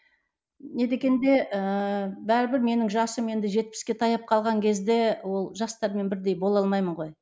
не дегенде ііі бәрібір менің жасым енді жетпіске таяп қалған кезде ол жастармен бірдей бола алмаймын ғой